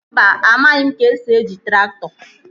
Mba, amaghị m ka-esi eji traktọ